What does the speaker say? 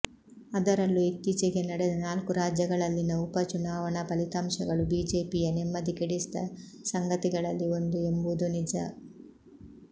ಅದರಲ್ಲೂ ಇತ್ತೀಚೆಗೆ ನಡೆದ ನಾಲ್ಕು ರಾಜ್ಯಗಳಲ್ಲಿನ ಉಪ ಚುನಾವಣಾ ಫಲಿತಾಂಶಗಳು ಬಿಜೆಪಿಯ ನೆಮ್ಮದಿ ಕೆಡಿಸಿದ ಸಂಗತಿಗಳಲ್ಲಿ ಒಂದು ಎಂಬುದೂ ನಿಜ